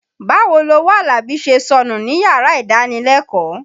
Báwo lowó Àlàbí ṣe sọnù níyàrá ìdánilẹ́kọ̀ọ́.